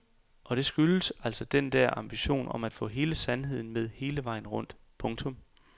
Og det skyldes altså den der ambition om at kunne få hele sandheden med hele vejen rundt. punktum